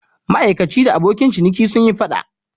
Ma'aikaci da abokin ciniki sun yi fada.